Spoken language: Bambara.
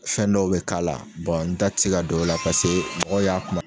Fɛn dɔw bɛ k'a la, n da ti se ka dɔw la paseke mɔgɔ y'a